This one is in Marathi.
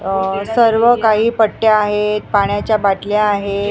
अह सर्व काही पट्ट्या आहेत पाण्याच्या बाटल्या आहेत.